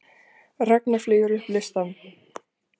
Ragna flýgur upp listann